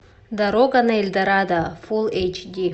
дорога на эльдорадо фул эйч ди